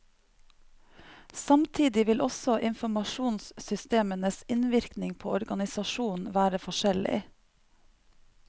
Samtidig vil også informasjonssystemenes innvirkning på organisasjonen være forskjellig.